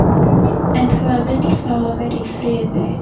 En það vill fá að vera í friði.